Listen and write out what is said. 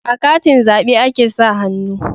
A katin zabe a ke sa hannu